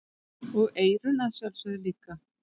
Og eyrun að sjálfsögðu líka.